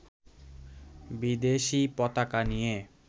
বিদেশী পতাকা নিয়ে